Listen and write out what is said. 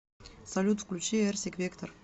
салют включи эрсик вектор